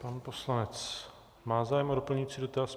Pan poslanec má zájem o doplňující dotaz.